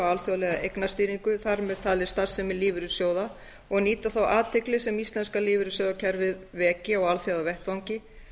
alþjóðlega eignastýringu þar með talið starfsemi lífeyrissjóða og nýta þá athygli sem íslenska lífeyrissjóðakerfið veki á alþjóðavettvangi